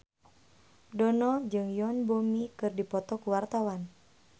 Dono jeung Yoon Bomi keur dipoto ku wartawan